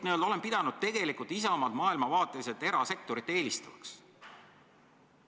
Ma olen pidanud Isamaad maailmavaateliselt erasektorit eelistavaks.